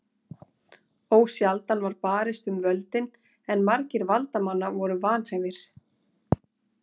Ósjaldan var barist um völdin en margir valdamanna voru vanhæfir.